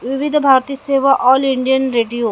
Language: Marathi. विविध भारतीय सेवा ऑल इंडिअन रेडीओ --